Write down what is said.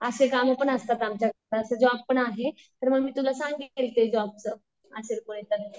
असे कामं पण असतात आमच्याकडे, असं जॉब पण आहे तर मी तुला सांगेल त्या जॉबचं असेल